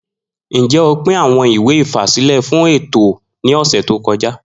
Njẹ o pin awọn iwe ifasilẹ fun eto ni ọsẹ to kọja?